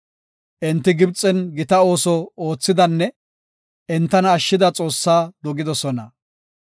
Enti Gibxen gita ooso oothidanne entana ashshida Xoossaa dogidosona.